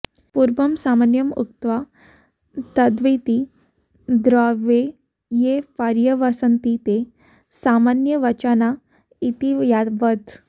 पूर्वं सामान्यमुक्त्वा तद्विति द्रव्ये ये पर्यवस्यन्ति ते सामान्यवचना इति यावत्